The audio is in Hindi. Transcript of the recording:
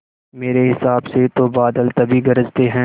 मेरे हिसाब से तो बादल तभी गरजते हैं